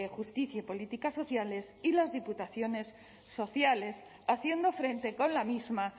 justicia y políticas sociales y las diputaciones forales haciendo frente con la misma